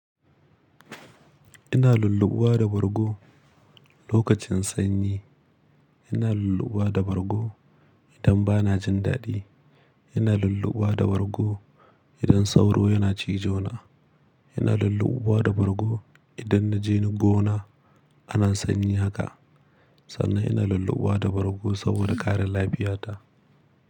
Ina lulluɓuwa da bargo lokacin sanyi. Ina lulluɓuwa da bargo idan bana jin daɗi. Ina lulluɓuwa da bargo idan sauro yana cizo na. Ina lulluɓuwa da bargo idan na je gona. Ana sanyi haka sannan ina lulluɓuwa da bargo saboda ƙarin lafiyata.